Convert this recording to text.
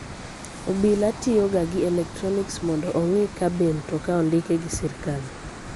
Obila tiyo ga gi elektronics mondo ong'I ka be mtoka ondiki gi sirkal.